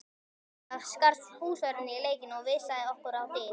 Fljótlega skarst húsvörðurinn í leikinn og vísaði okkur á dyr.